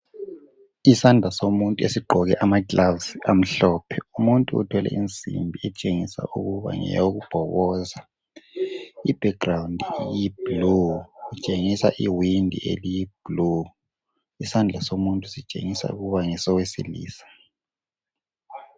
Isandla somuntu esigqoke amagilavisi amhlophe, umuntu uthwele insimbi etshengisa ukuba ngeyokubhoboza .I"background" iyi "blue" ,itshengisa iwindi eliyi "blue" .Isandla somuntu sitshengisa ukuba ngesowesilisa .